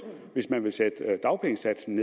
hvis man vil sætte dagpengesatsen